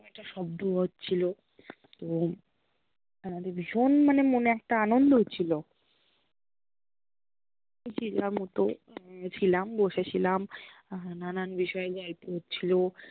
একটা শব্দ হ্চ্ছিল তো আমাদের ভীষণ মানে মনে একটা আনন্দ হচ্ছিল ম্তো ছিলাম বসে ছিলাম, নানান বিষয় নিয়ে গল্প হচ্ছিল